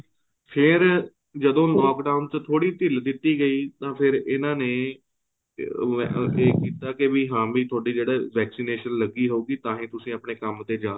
ਫ਼ੇਰ ਜਦੋਂ lock down ਵਿੱਚ ਥੋੜੀ ਢਿੱਲ ਦਿੱਤੀ ਗਈ ਤਾਂ ਫ਼ੇਰ ਇਹਨਾ ਨੇ ਕੇ ਉਹ ਏ ਕੀਤਾ ਹਾਂ ਵੀ ਤੁਹਾਡੇ ਜਿਹੜੇ vaccination ਲੱਗੀ ਹਉਗੀ ਤਾਂਹੀ ਤੁਸੀਂ ਆਪਣੇ ਕੰਮ ਤੇ ਜਾਂ